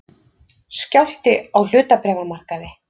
Skjálfti á hlutabréfamarkaði